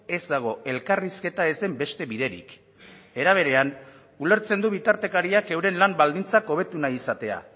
ez dago elkarrizketa ez den beste biderik era berean ulertzen du bitartekariak euren lan baldintzak hobetu nahi izatea